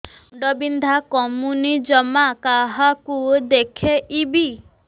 ମୁଣ୍ଡ ବିନ୍ଧା କମୁନି ଜମା କାହାକୁ ଦେଖେଇବି